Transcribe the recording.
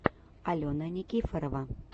алена никифорова